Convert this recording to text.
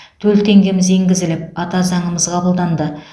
төл теңгеміз енгізіліп ата заңымыз қабылданды